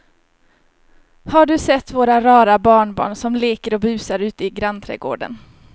Har du sett våra rara barnbarn som leker och busar ute i grannträdgården!